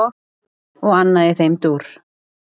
Og annað í þeim dúr.